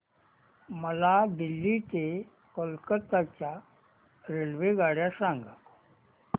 मला दिल्ली ते कोलकता च्या रेल्वेगाड्या सांगा